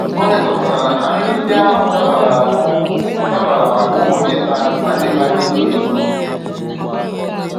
O nyochapụtara na nri ndị ahụ dabara ahụ dabara maka ụmụ nkịta na nkịta ndị toro eto